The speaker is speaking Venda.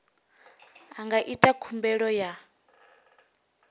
a nga ita khumbelo ya